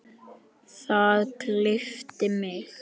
Það gleypti mig.